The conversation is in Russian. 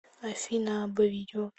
афина абба видео